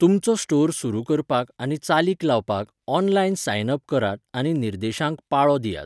तुमचो स्टोर सुरू करपाक आनी चालीक लावपाक ऑनलायन सायन अप करात आनी निर्देशांक पाळो दियात.